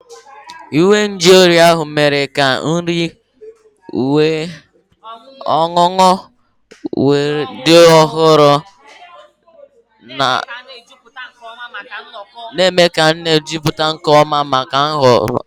Igwe nju oyi ahụ mere ka nri na ihe ọṅụṅụ dị ọhụrụ, na-eme ka a na-ejupụta nke ọma maka nnọkọ.